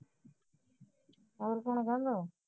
ਹੋਰ ਕੌਣ